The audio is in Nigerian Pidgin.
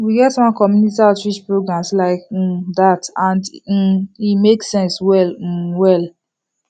we get one community outreach programs like um that and um e make sense well um well